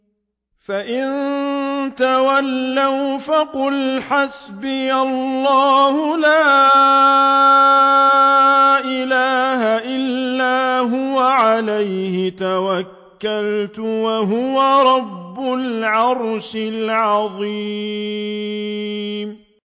فَإِن تَوَلَّوْا فَقُلْ حَسْبِيَ اللَّهُ لَا إِلَٰهَ إِلَّا هُوَ ۖ عَلَيْهِ تَوَكَّلْتُ ۖ وَهُوَ رَبُّ الْعَرْشِ الْعَظِيمِ